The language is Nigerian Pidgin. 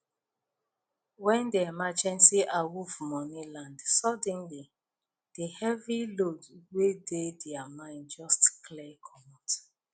when the emergency awoff money land suddenly the heavy load wey dey their mind just clear comot